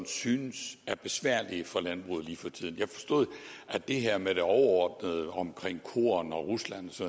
synes er besværlige for landbruget lige for tiden jeg forstod det her med det overordnede om korn og rusland